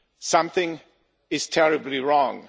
Something is terribly wrong.